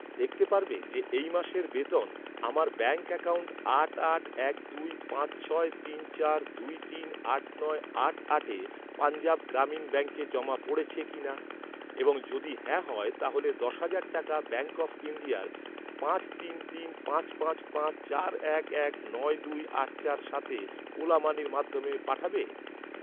দেখতে পারবে যে এই মাসের বেতন আমার ব্যাঙ্ক অ্যাকাউন্ট আট আট এক দুই পাঁচ ছয় তিন চার দুই তিন আট নয় আট আটে পঞ্জাব গ্রামীণ ব্যাঙ্কে জমা পড়েছে কিনা, এবং যদি হ্যাঁ হয়, তাহলে দশ হাজার টাকা ব্যাঙ্ক অফ ইন্ডিয়ার পাঁচ তিন তিন পাঁচ পাঁচ পাঁচ চার এক এক নয় দুই আট চার সাতে ওলা মানির মাধ্যমে পাঠাবে?